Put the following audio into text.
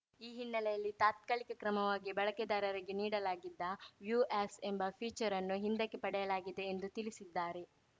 ಈ ಹಿನ್ನೆಲೆಯಲ್ಲಿ ತಾತ್ಕಾಲಿಕ ಕ್ರಮವಾಗಿ ಬಳಕೆದಾರರಿಗೆ ನೀಡಲಾಗಿದ್ದ ವ್ಯೂ ಆ್ಯಸ್‌ ಎಂಬ ಫೀಚರ್‌ ಅನ್ನು ಹಿಂದಕ್ಕೆ ಪಡೆಯಲಾಗಿದೆ ಎಂದು ತಿಳಿಸಿದ್ದಾರೆ